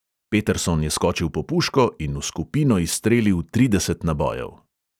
Peterson je skočil po puško in v skupino izstrelil trideset nabojev.